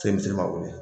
wele